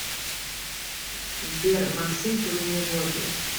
сбер максим трудный возраст